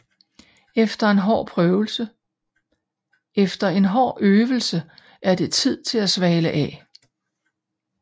Efter en hård øvelse er det tid til at svale af